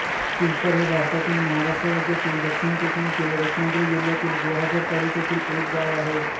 पिंपर हे भारतातील महाराष्ट्र राज्यातील दक्षिण कोकणातील रत्नागिरी जिल्ह्यातील गुहागर तालुक्यातील एक गाव आहे